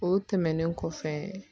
O tɛmɛnen kɔfɛ